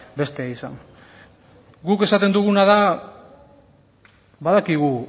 bestea izan guk esaten duguna da badakigu